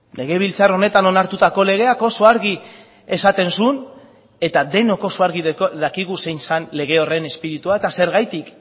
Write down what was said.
legebiltzar honetan onartutako legeak oso argi esaten zuen eta denok oso argi dakigu zein zen lege horren espiritua eta zergatik